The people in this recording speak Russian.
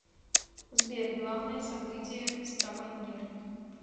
сбер главное событие ставангер